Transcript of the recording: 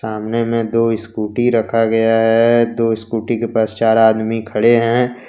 सामने में दो इस्कूटी रखा गया है दो स्कूटी के पास चार आदमी खड़े है।